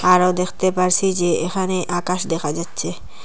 আরও দেখতে পারছি যে এখানে আকাশ দেখা যাচ্ছে।